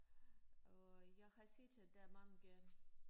Og jeg har set at der mange